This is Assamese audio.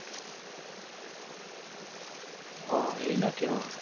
অ, এৰিলা কিয় ?